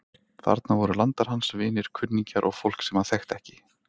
Þarna voru landar hans, vinir, kunningjar og fólk sem hann þekkti ekki.